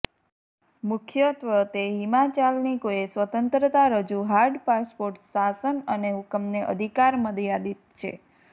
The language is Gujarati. મુખ્યત્વે તે હિલચાલની કોઇ સ્વતંત્રતા રજૂ હાર્ડ પાસપોર્ટ શાસન અને હુકમને અધિકાર મર્યાદિત છે